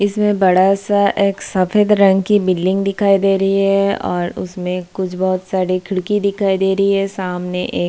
इसमें बड़ा-सा एक सफेद रंग की बिल्डिंग दिखाई दे रही है और उसमें कुछ बहुत सारी खिड़की दिखाई दे रही है सामने एक --